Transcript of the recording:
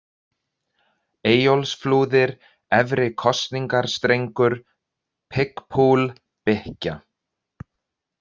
Eyjólfsflúðir, Efri-Kosningastrengur, Pig Pool, Bykkja